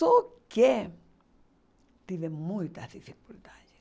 Só que tive muitas dificuldades.